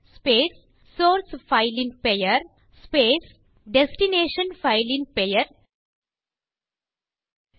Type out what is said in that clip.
space source file ன் பெயர் space destination file ன் பெயர் டெஸ்ட்